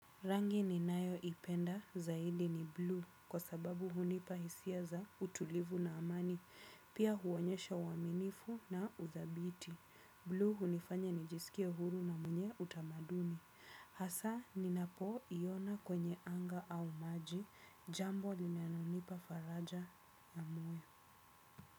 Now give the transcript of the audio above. Rangi ninayoipenda zaidi ni blue kwa sababu hunipa hisia za utulivu na amani pia huonyesha uaminifu na udhabiti blue hunifanya nijisikie huru na mwenye utamaduni hasa ninapoo iona kwenye anga au maji jambo linalonipa faraja ya moyo.